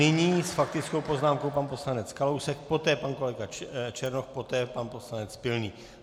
Nyní s faktickou poznámkou pan poslanec Kalousek, poté pan kolega Černoch, poté pan poslanec Pilný.